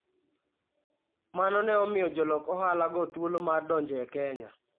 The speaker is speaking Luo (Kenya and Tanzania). Mano ne omiyo jolok ohalago thuolo mar donjo e Kenya.